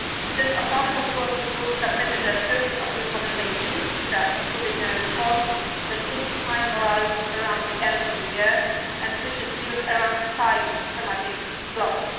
This autonomous working group submitted a series of recommendations which are included in a report that will be finalised around the end of the year and which is built around five thematic blocks.